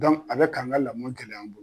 a bɛ k'an ka lamɔ gɛlɛya an bolo.